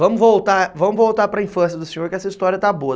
Vamos voltar, vamos voltar para a infância do senhor, que essa história está boa.